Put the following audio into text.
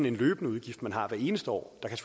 en løbende udgift man har hvert eneste år der kan